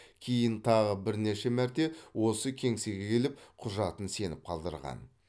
кейін тағы бірнеше мәрте осы кеңсеге келіп құжатын сеніп қалдырған